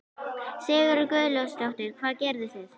Sigríður Guðlaugsdóttir: Hvað gerðuð þið?